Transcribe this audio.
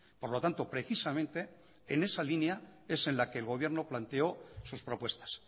por lo tanto precisamente en esa línea es en la que el gobierno planteó sus propuestas